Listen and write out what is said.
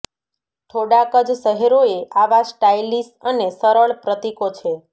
થોડાક જ શહેરોએ આવા સ્ટાઇલિશ અને સરળ પ્રતીકો છે